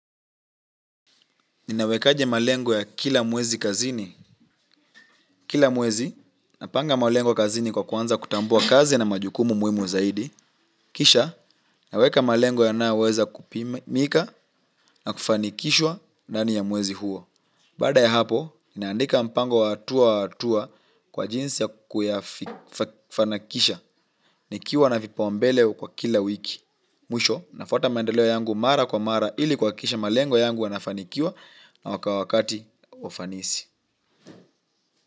Ninawekaje malengo ya kila mwezi kazini. Kila mwezi, napanga malengo kazini kwa kuanza kutambua kazi na majukumu muhimu zaidi. Kisha, naweka malengo yanyoaweza kupimika na kufanikishwa ndani ya mwezi huo. Baada ya hapo, ninaandika mpango wa hatua kwa hatua kwa jinsi ya kufanikisha. Nikiwa na vipaumbele kwa kila wiki. Mwisho, nafuata maendeleo yangu mara kwa mara ili kuhakikisha malengo yangu yanafanikiwa na kwa wakati wa ufanisi.